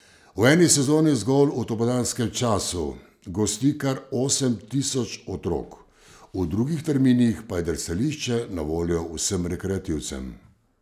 V eni sezoni zgolj v dopoldanskem času gosti kar osem tisoč otrok, v drugih terminih pa je drsališče na voljo vsem rekreativcem.